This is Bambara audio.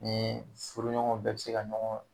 Ni furuɲɔgɔn bɛɛ bɛ se ka ɲɔgɔn